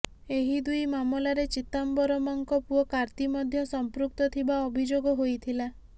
ଏହି ଦୁଇ ମାମଲାରେ ଚିଦାମ୍ବରମଙ୍କ ପୁଅ କାର୍ତ୍ତି ମଧ୍ୟ ସଂପୃକ୍ତ ଥିବା ଅଭିଯୋଗ ହୋଇଥିଲା